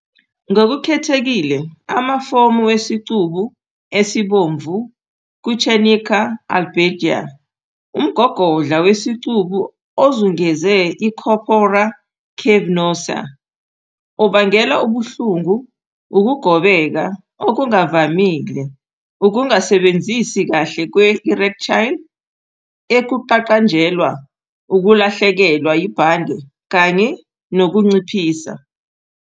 Ngokukhethekile, amafomu wesicubu esibomvu ku-tunica albuginea, umgogodla wesicubu ozungeze i- corpora cavernosa, obangela ubuhlungu, ukugobeka okungavamile, ukungasebenzi kahle kwe-erectile, ukuqaqanjelwa, ukulahlekelwa yibhande kanye nokunciphisa.